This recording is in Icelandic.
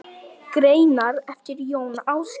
Greinar eftir Jón Ásgeir